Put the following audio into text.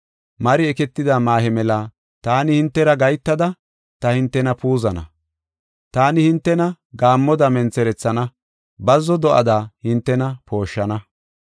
Mari eketida maahe mela taani hintera gahetada ta hintena puuzana. Taani hintena gaammoda mentherethana; bazzo do7ada hintena pooshshana.